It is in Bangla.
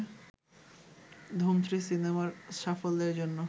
ধুম থ্রি সিনেমার সাফল্যের জন্য